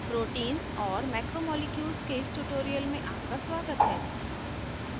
proteins और macromolecules के इस tutorial में आपका स्वागत है